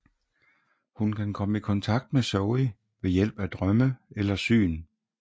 Hun kan komme i kontakt med Zoey ved hjælp af drømme eller syn